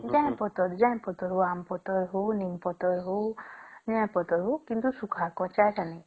ଜହାଂ ପତର ହଉ ଆମ ପତର ହଉ ନିମ ପତର ହଉ ଯୋଉ ପତର ହଉ କିନ୍ତୁ ଶୁଖା କଞ୍ଚା ସଁ ନାଇଁ